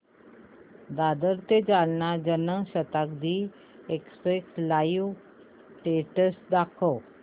दादर ते Jalna Janshatabdi express live status दाखव